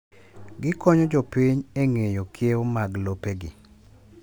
Gikonyo jopiny eng'eyo kiewo mag lopegi.